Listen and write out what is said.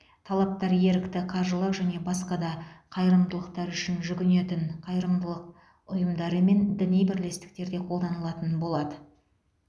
талаптар ерікті қаржылық және басқа да қайырымдылықтар үшін жүгінетін қайырымдылық ұйымдары мен діни бірлестіктерге қолданылатын болады